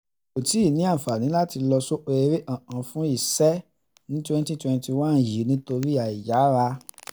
mi ò tí ì ní àǹfààní láti lọ sóko eré kankan fún iṣẹ́ ní twenty twenty one yìí nítorí àìyáàrá